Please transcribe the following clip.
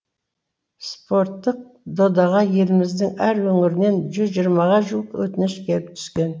спорттық додаға еліміздің әр өңірінен жүз жиырмаға жуық өтініш келіп түскен